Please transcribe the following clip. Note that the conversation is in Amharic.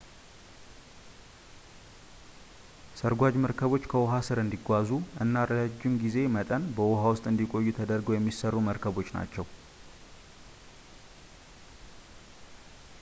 ሰርጓጅ መርከቦች ከውሃ ስር እንዲጓዙ እና ለረዥም የጊዜ መጠን በውሃ ውስጥ እንዲቆዩ ተደርገው የሚሰሩ መርከቦች ናቸው